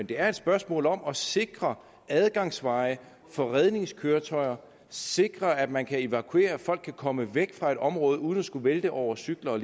det er et spørgsmål om at sikre adgangsveje for redningskøretøjer sikre at man kan evakuere og at folk kan komme væk fra et område uden at skulle vælte over cykler